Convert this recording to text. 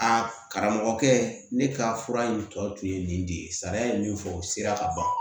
Aa karamɔgɔkɛ ne ka fura in tɔ tun ye nin de ye sariya ye min fɔ o sera ka ban